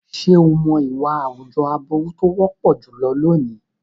Ṣé o mọ̀ ìwà àwùjọ aburú tó wọ́pọ̀ jùlọ lónìí?